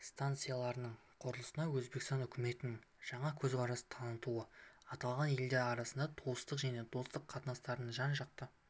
стансаларының құрылысына өзбекстан үкіметінің жаңа көзқарас танытуы аталған елдер арасындағы туыстық және достық қатынастардың жан-жақты